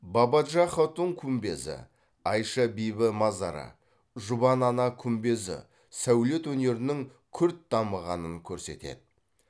бабаджа хатун күмбезі айша бибі мазары жұбан ана күмбезі сәулет өнерінің күрт дамығанын көрсетеді